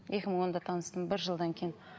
екі мың онда таныстым бір жылдан кейін